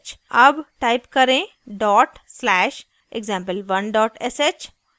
अब type करें dot slash example1 sh